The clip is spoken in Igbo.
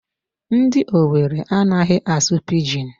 Ndi Owere amaghị asụ Pidgin.